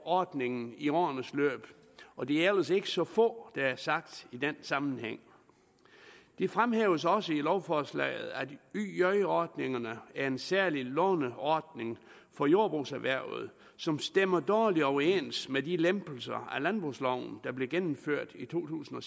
ordningen i årenes løb og det er ellers ikke så få der er sagt i den sammenhæng det fremhæves også i lovforslaget at yj ordningerne er en særlig låneordning for jordbrugserhvervet som stemmer dårligt overens med de lempelser af landbrugsloven der blev gennemført i to tusind